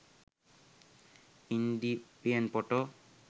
indian photo